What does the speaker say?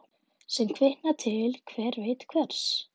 Sem kvikna til hver veit hvers.